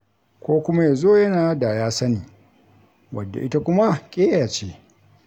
Ko kuma ya zo yana da ya sani, wadda ita kuma ƙeya ce.